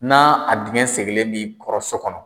N'a a dingɛn segelen b'i kɔrɔ so kɔnɔ.